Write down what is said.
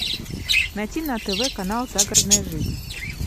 найти на тв канал загородная жизнь